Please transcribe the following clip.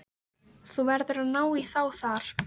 Þú verður að ná í þá þar.